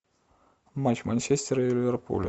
матч манчестера и ливерпуля